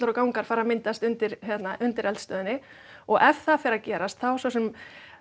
og gangar fari að myndast undir undir eldstöðinni og ef það fer að gerast þá svo sem